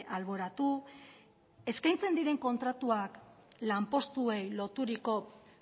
alboratu eskaintzen diren kontratuak lanpostuei loturiko